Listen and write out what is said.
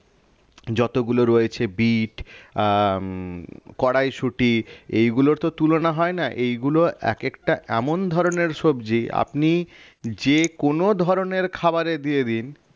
যতগুলো রয়েছে বিট আহ উম কড়াইশুঁটি এইগুলোর তো তুলনা হয় না এইগুলো একেকটা এমন ধরনের সবজি আপনি যেকোনো ধরনের খাবারে দিয়ে দিন